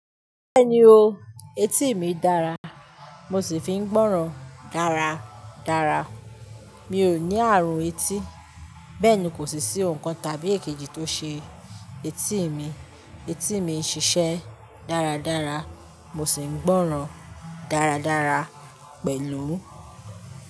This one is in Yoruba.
Bẹ́ẹ̀ni o, etí mi dára, mo sì fi ń gbọ́ràn dáradára. Mi ò ní àrùn etí, bẹ́ẹ̀ ni kò sì sí oun kan tàbí èkejì tó ṣe etí mi. Etí mi ń ṣiṣẹ́ dáradára, mo sì ń gbọ́ràn dáradára pẹ̀lú.